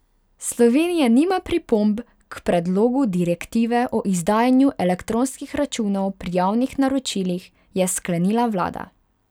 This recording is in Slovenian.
Slovenija nima pripomb k predlogu direktive o izdajanju elektronskih računov pri javnih naročilih, je sklenila vlada.